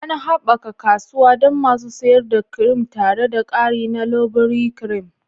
An haɓaka kasuwa don masu sayar da kirim tare da ƙari na Ivory Cream.